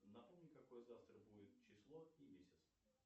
напомни какое завтра будет число и месяц